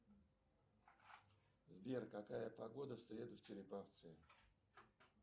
сбер какая погода в среду в череповце